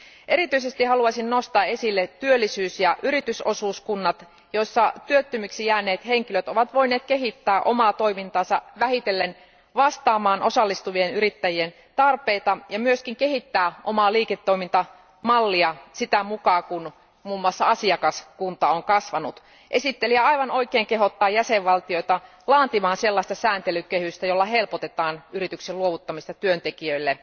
Erityisesti haluaisin nostaa esille työllisyys ja yritysosuuskunnat, joissa työttömiksi jääneet henkilöt ovat voineet kehittää omaa toimintaansa vähitellen vastaamaan osallistuvien yrittäjien tarpeita ja myöskin kehittää omaa liiketoimintamallia sitä mukaan, kun muun muassa asiakaskunta on kasvanut. Esittelijä aivan oikein kehottaa jäsenvaltioita laatimaan sellaista sääntelykehystä, jolla helpotetaan yrityksen luovuttamista työntekijöille,